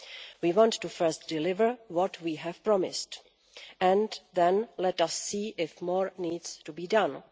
We want to first deliver what we have promised and then let us see if more needs to be done.